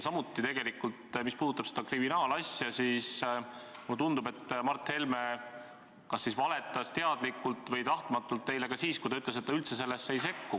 Ja mis puudutab seda kriminaalasja, siis mulle tundub, et Mart Helme kas valetas teadlikult või tahtmatult teile ka siis, kui ta ütles, et ta üldse sellesse ei sekku.